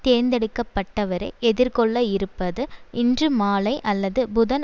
தேர்ந்தெடுக்கப்பட்டவரே எதிர்கொள்ள இருப்பது இன்று மாலை அல்லது புதன்